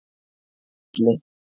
Elli